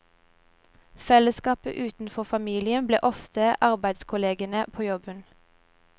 Fellesskapet utenfor familien ble ofte arbeidskollegene på jobben.